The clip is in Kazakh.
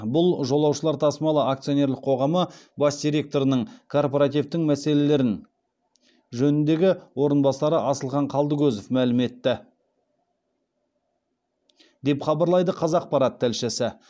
бұл жолаушылар тасымалы акционерлік қоғамы бас директорының корпоративтің мәселелер жөніндегі орынбасары асылхан қалдыкозов мәлім етті деп хабарлайды қазақпарат тілшісі